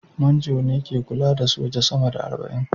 Manjo ne ke kula da soja sama da arba'in